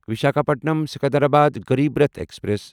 Visakhapatnam Secunderabad Garib Rath express